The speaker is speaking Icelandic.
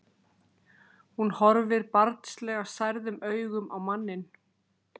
Hún horfir barnslega særðum augum á manninn.